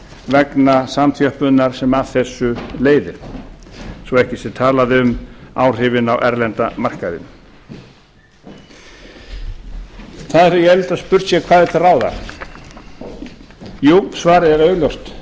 vegna samþjöppunar sem af þessu leiðir svo ekki sé talað um áhrifin á erlenda markaðinn ég held að spurt sé hvað er til ráða jú svarið er augljóst það